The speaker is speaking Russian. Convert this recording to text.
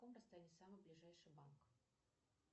на каком расстоянии самый ближайший банк